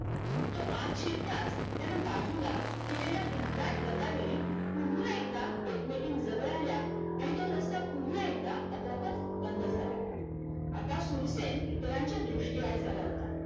तो आत शिरताच त्यान बाजूला केलेल्या घनदाट लतावेली पुन्हा एकदा एकमेकी जवळ आल्या आणि तो रस्ता पुन्हा एकदा आपोआपच बंद झाला आता शूरसेन इतरांच्या दृष्टीआड झाला होता.